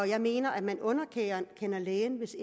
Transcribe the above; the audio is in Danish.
jeg mener at man underkender lægen hvis